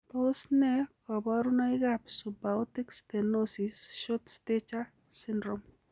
Tos nee koborunoikab Subaortic stenosis short stature syndrome?